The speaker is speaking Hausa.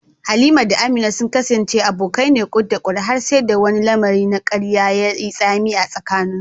Halima da Amina sun kasance abokai na ƙut-da-ƙut har sai da wani lamari na karya ya yi tsami a tsakaninsu.